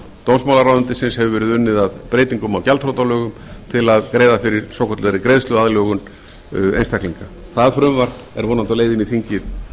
dómsmálaráðuneytisins hefur verið unnið að breytingum á gjaldþrotalögum til að greiða fyrir svokallaðri greiðsluaðlögun einstaklinga það frumvarp er vonandi á leið inn í þingið